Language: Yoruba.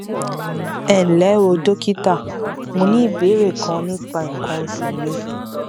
ẹ ǹlẹ o dókítà mo ní ìbéèrè kan nípa nǹkan oṣù mi